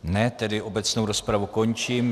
Ne, tedy obecnou rozpravu končím.